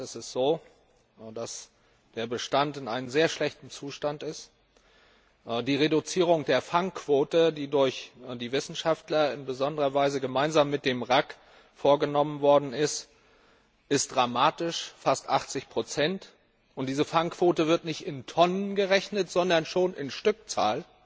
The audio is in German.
In der Tat ist es so, dass der Bestand in einem sehr schlechten Zustand ist. Die Reduzierung der Fangquote, die durch die Wissenschaftler in besonderer Weise gemeinsam mit dem RAC vorgenommen worden ist, ist dramatisch fast 80 Diese Fangquote wird nicht in Tonnen gerechnet, sondern schon in Stückzahl.